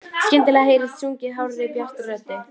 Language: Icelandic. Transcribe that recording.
Skyndilega heyrist sungið hárri, bjartri röddu.